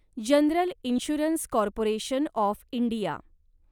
general insurance corporation of India